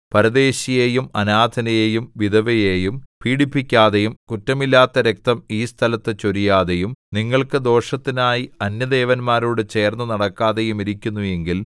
പരദേശിയെയും അനാഥനെയും വിധവയെയും പീഡിപ്പിക്കാതെയും കുറ്റമില്ലാത്ത രക്തം ഈ സ്ഥലത്ത് ചൊരിയാതെയും നിങ്ങൾക്ക് ദോഷത്തിനായി അന്യദേവന്മാരോടു ചേർന്ന് നടക്കാതെയും ഇരിക്കുന്നു എങ്കിൽ